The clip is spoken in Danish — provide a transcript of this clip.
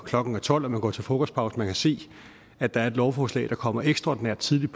klokken tolv når man går til frokostpause og man kan se at der er et lovforslag der kommer ekstraordinært tidligt